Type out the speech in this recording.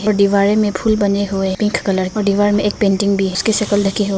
और दीवारे में फूल बने हुए पिंक कलर के और दीवार में एक पेंटिंग भी उसकी शक्ल ढकी है।